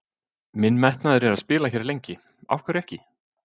Minn metnaður er að spila hér lengi, af hverju ekki?